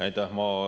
Aitäh!